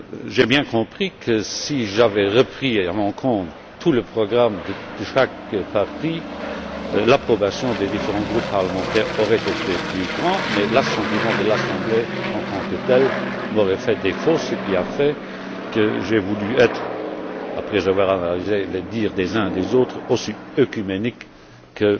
J'ai bien compris que si j'avais pris en compte tout le programme de chaque parti, l'approbation des différents groupes parlementaires aurait été plus grand, mais l'assentiment de l'Assemblée en tant que tel m'aurait fait défaut, ce qui a fait que j'ai voulu être après avoir analysé les dires des uns et des autres aussi ménique que